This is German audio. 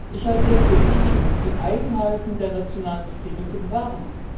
Ich halte es für wichtig, die Eigenheiten der nationalen Systeme zu bewahren.